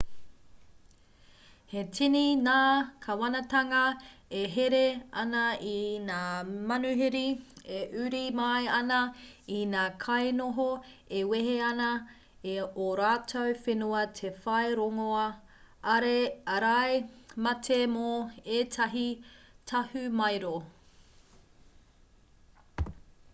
he tini ngā kāwanatanga e here ana i ngā manuhiri e uru mai ana i ngā kainoho e wehe ana i ō rātou whenua te whai rongoā ārai mate mō ētahi tahumaero